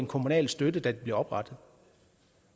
kommunal støtte da de blev oprettet